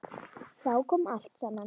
Þá kom allt saman.